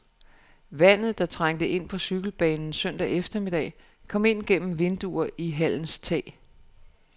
Vandet, der trængte ind på cykelbanen søndag eftermiddag, kom ind gennem vinduer i hallens tag.